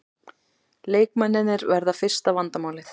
Leikmennirnir verða fyrsta vandamálið